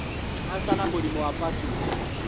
Kanca, na mũrimũ wa parkinson